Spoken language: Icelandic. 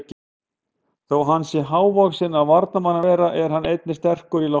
Þó hann sé ekki hávaxinn af varnarmanni að vera er hann einnig sterkur í loftinu.